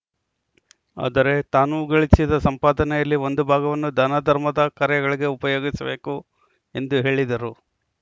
ಆದರೆ ತಾನೂ ಗಳಿಸಿದ ಸಂಪಾದನೆಯಲ್ಲಿ ಒಂದು ಭಾಗವನ್ನು ಧಾನ ಧರ್ಮದ ಕಾರ್ಯಗಳಿಗೆ ಉಪಯೋಗಿಸಬೇಕು ಎಂದು ಹೇಳಿದರು